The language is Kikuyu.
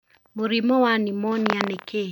Mũrimũ wa nimonia nĩ kĩĩ?